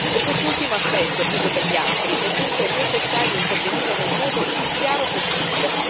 Per quest'ultimo aspetto più che per gli altri, è dunque necessario intervenire nel modo più chiaro possibile.